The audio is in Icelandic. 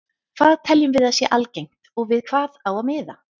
Hvað teljum við að sé algengt og við hvað á að miða?